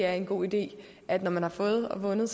er en god idé at når man har fået og vundet